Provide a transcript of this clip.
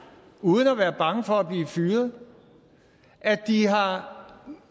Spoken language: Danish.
uden at være bange for at blive fyret at de har